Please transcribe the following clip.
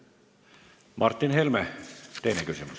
Martin Helme, teine küsimus.